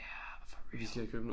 Ja for real